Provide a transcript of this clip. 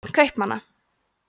börn kaupmanna